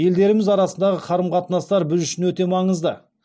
елдеріміз арасындағы қарым қатынастар біз үшін өте маңызды